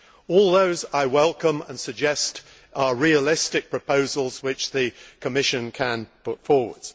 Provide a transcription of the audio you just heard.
All those I welcome, and I suggest they are realistic proposals which the Commission can put forward.